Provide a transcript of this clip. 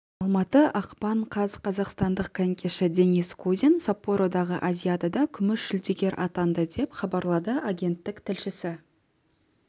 алматы ақпан қаз қазақстандық конькиші денис кузин саппородағы азиадада күміс жүлдегер атанды деп хабарлады агенттік тілшісі